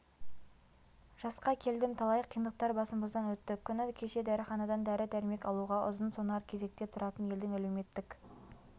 жасқа келдім талай қиындықтар басымыздан өтті күні кеше дәріханадан дәрі-дәрмек алуға ұзын-сонар кезекте тұратын елдің әлеуметтік